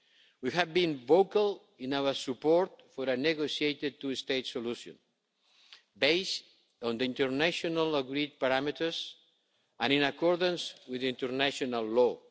We have been vocal in our support for a negotiated two state solution based on the internationally agreed parameters and in accordance with international law.